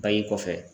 Bange kɔfɛ